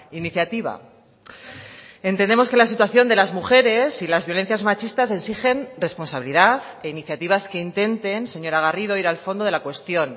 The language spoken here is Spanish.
iniciativa entendemos que la situación de las mujeres y las violencias machistas exigen responsabilidad e iniciativas que intenten señora garrido ir al fondo de la cuestión